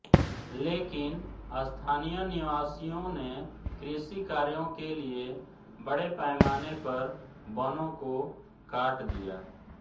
लेकिन स्थानीय निवासियों ने कृषि कार्यो के लिए बडे़ पैमाने पर वनों को काट दिया